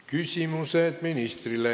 Küsimused ministrile.